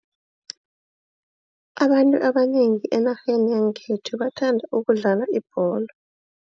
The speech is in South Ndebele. Abantu abanengi enarheni yangekhethu bathanda ukudlala ibholo.